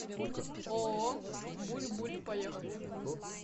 ооо буль буль поехали